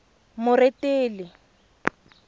moretele